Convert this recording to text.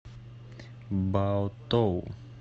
баотоу